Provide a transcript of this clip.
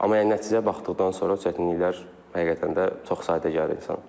Amma yəni nəticəyə baxdıqdan sonra o çətinliklər həqiqətən də çox sadə gəlir insan.